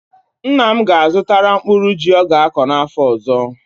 Nna m ga-azụtara mkpụrụ ji ọ ga-akọ afọ ọzọ.